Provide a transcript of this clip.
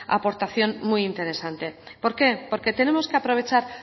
aportación muy interesante por qué porque tenemos que aprovechar